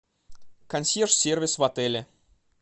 консьерж сервис в отеле